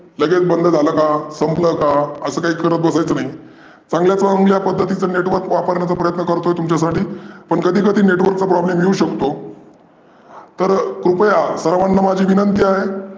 लगेच बंद झालं का? संपल का? आसं काही करत बसायचं नाही. चांगल्या पध्दतीचं network वापरण्याचं प्रयत्न करतो तुमच्यासाठी पण कधी कधी network चा problem येऊ शकतो. तर कृपया सर्वांना माझी विनंती आहे.